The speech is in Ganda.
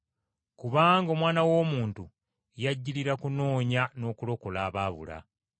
Kubanga Omwana w’Omuntu, yajjirira kunoonya n’okulokola abaabula.”